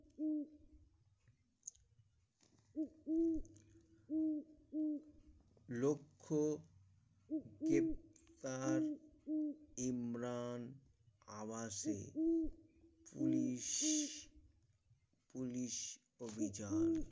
লক্ষ কে তার ইমরান আবাসে Police Police অভিযান